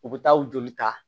U bɛ taa joli ta